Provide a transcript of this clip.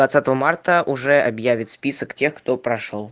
двадцатого марта уже объявится список тех кто прошёл